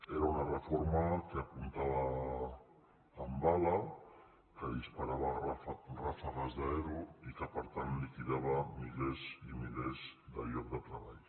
era una re·forma que apuntava amb bala que disparava ràfegues d’ero i que per tant liquidava milers i milers de llocs de treball